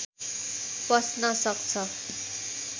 पस्न सक्छ